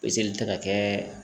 Peseli tɛ ka kɛ